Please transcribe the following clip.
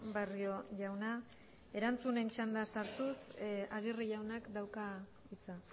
barrio jauna erantzunen txandan sartuz agirre jaunak dauka hitza